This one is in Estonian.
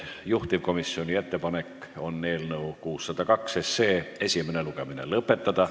Juhtivkomisjoni ettepanek on eelnõu 602 esimene lugemine lõpetada.